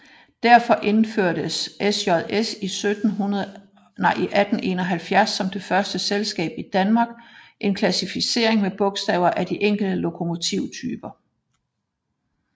Derfor indførte SJS i 1871 som første selskab i Danmark en klassificering med bogstaver af de enkelte lokomotivtyper